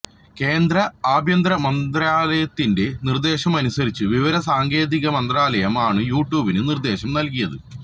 കേന്ദ്ര ആഭ്യന്തര മന്ത്രാലയത്തിന്റെ നിര്ദേശമനുസരിച്ചു വിവരസാങ്കേതിക മന്ത്രാലയം ആണു യൂട്യൂബിനു നിര്ദേശം നല്കിയത്